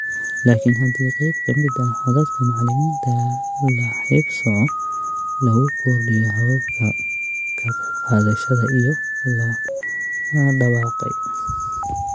Laakiin haddii qayb ka mid ah codadka macallimiinta la haybsooco lagu kordhiyo hababka ka qaybqaadashada iyo la dabaqay.